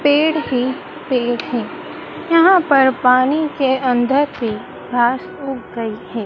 पेड़ ही पेड़ है यहां पर पानी के अंदर थी घास उग गई है।